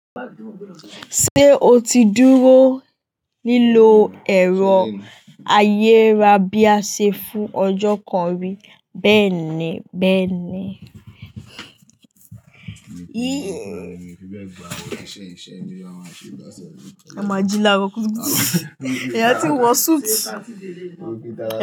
Ṣé o ti dúró lílò ẹ̀rọ ayẹra bí a ṣe fún ọjọ́ kan rí bẹ́ẹ̀ni bẹ́ẹ̀ni. Mo máa jí láro kùtùkùtù. Ìyá ti ń wọ suit.